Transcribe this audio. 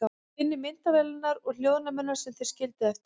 Finnið myndavélarnar og hljóðnemana sem þeir skildu eftir.